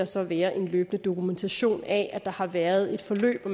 så være en løbende dokumentation af at der har været et forløb og